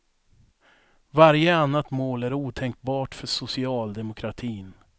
Varje annat mål är otänkbart för socialdemokratin.